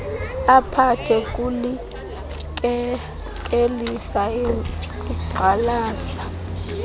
aphathe kulikekelisa igxalaba